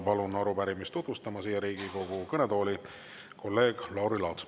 Palun arupärimist siia Riigikogu kõnetooli tutvustama kolleeg Lauri Laatsi.